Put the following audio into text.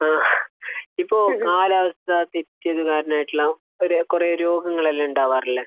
ആഹ്. ഇപ്പോൾ കാലാവസ്ഥാതിരിച്ചൽ കാരണമായിട്ടുള്ള ഒരു കുറേ രോഗങ്ങളെല്ലാം ഉണ്ടാവാറില്ലേ?